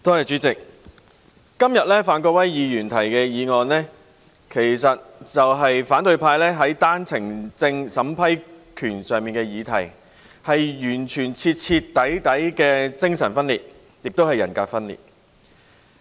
主席，范國威議員今天提出議案，是反對派在單程證審批權上製造議題，是完全、徹底的精神及人格分裂。